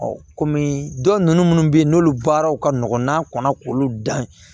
kɔmi dɔw minnu bɛ yen n'olu baaraw ka nɔgɔn n'a kɔnna k'olu dan